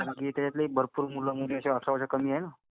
कारण की त्याच्यातले भरपूर मुलं-मुली जे अठराच्या कमी आहेत ना?